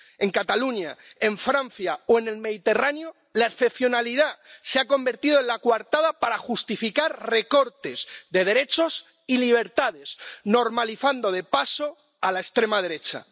En Cataluña, en Francia o en el Mediterráneo la excepcionalidad se ha convertido en la coartada para justificar recortes de derechos y libertades, normalizando de paso a la extrema derecha.